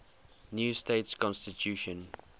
new state constitution